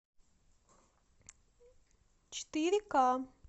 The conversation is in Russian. четыре к